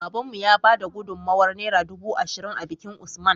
Babanmu ya bada gudun mawayar naira dubu ashirin a bikin usman